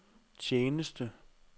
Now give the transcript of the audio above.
tjeneste